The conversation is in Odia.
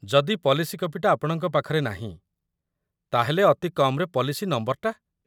ଯଦି ପଲିସି କପିଟା ଆପଣଙ୍କ ପାଖରେ ନାହିଁ ତା'ହେଲେ, ଅତି କମ୍‌ରେ ପଲିସି ନମ୍ବରଟା ।